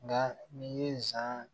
Nka n'i ye nsan